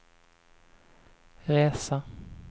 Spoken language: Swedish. resa